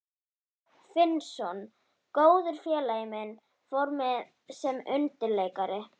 Finnsson, góður félagi minn, fór með sem undirleikari.